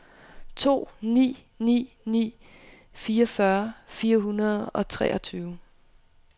to ni ni ni fireogfyrre fire hundrede og treogtyve